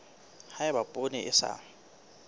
ha eba poone e sa